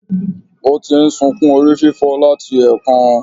Ó ti n sukún orí fífọ́ láti èkan